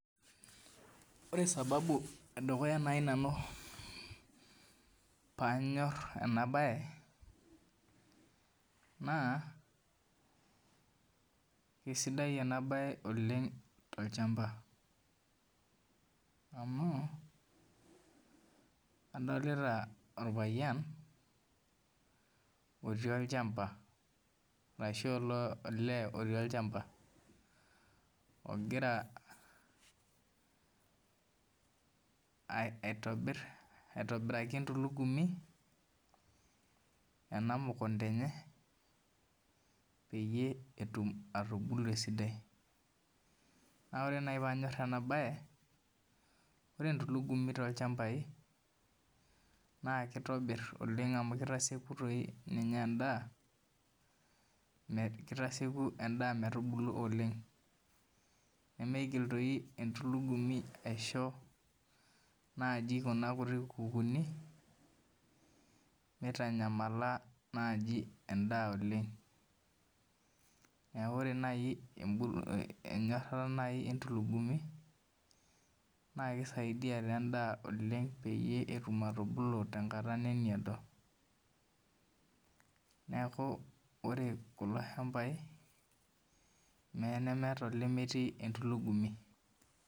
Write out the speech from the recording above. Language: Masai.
Oree sababu ee dukuya pee anyorr ena bayee naa kesidai oleng enaa bayee tolchamba amuu adolita orpayian oti olchamba ogoraa aitobirakii entulumii emukunda enye peyiee etum etubulu esidai oree peyiee enyorr ena baye oree entulugumii tolchamba na kitobirr amuu kitasiekuu endaa metubuluu oleng nemigil entulugumii aishoo ngukukuni mitanyamala endaa oleng oree enyorata entulugumii naa kisaidia endaa oleng peyiee ebuluu tenkataa nemiado